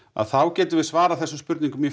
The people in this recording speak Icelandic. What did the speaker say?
þá getum við svarað þessum spurningum í